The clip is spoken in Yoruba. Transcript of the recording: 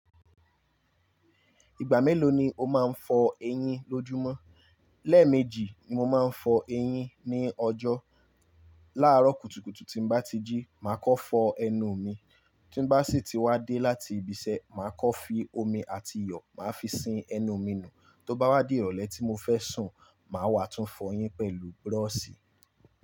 Ìgbà mélòó ni o máa ń fọ eyín lójúmọ́? Lẹ́ẹ̀mejì ni mo máa ń fọ eyín ní ọjọ́. Láàrọ̀ kùtùkùtù tí n bá ti jí, màá kọ́ fọ ẹnu mi, tí n bá sì ti wá dé láti ibi iṣẹ́, màá kọ́ fi omi àti iyọ̀, màá fi sin ẹnu mi nù, tó bá wá dé ìrọ̀lẹ́ tí mo fẹ́ sùn, màá wà tún fọ eyín pẹ̀lú búrọ́ọ̀ṣì.